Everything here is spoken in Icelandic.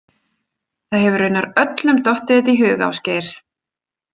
Það hefur raunar öllum dottið þetta í hug, Ásgeir.